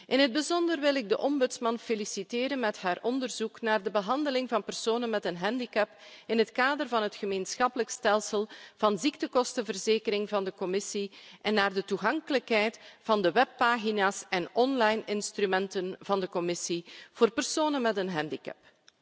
In het bijzonder wil ik de Ombudsman feliciteren met haar onderzoek naar de behandeling van personen met een handicap in het kader van het Gemeenschappelijk stelsel van ziektekostenverzekering van de Commissie en naar de toegankelijkheid van de webpagina's en online instrumenten van de Commissie voor personen met een handicap.